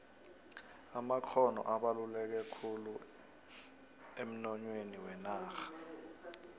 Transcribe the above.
amakgono abaluleke khulu emnoyhweni wenarha